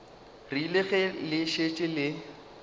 rile ge le šetše le